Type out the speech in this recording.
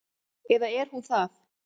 Eða er hún það?